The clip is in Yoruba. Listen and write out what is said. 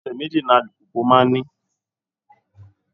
Ẹsẹ méjì ni alùpùpù máa ń ní